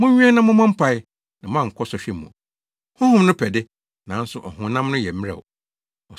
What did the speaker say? Monwɛn na mommɔ mpae, na moankɔ sɔhwɛ mu. Honhom no pɛ de, nanso ɔhonam no yɛ mmerɛw!”